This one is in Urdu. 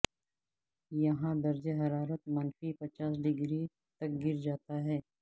یہاں درجہ حرارت منفی پچاس ڈگری تک گر جاتا ہے